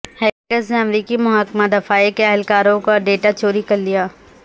hackers نے امریکی محکمہ دفاع کے اہلکاروں کا ڈیٹا چوری کر لیا